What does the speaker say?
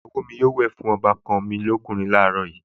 Ìyáàyá mi yóò wẹ̀ fún ọbàkan mi lọ́kùnrin láàárọ̀